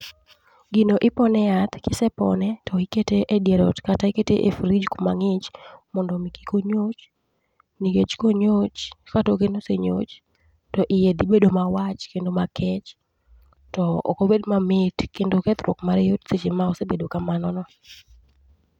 gino ipone yath, kisepone to ikete e dier ot kata ikete e frij kuma ng'ich mondo kik onyoch. Nikech konyoch, ka toke no osenyoch, to iye dhi bedo ma wach kendo ma kech. To okobed ma mit kendo kethruok mare yot seche ma osebet kamano no.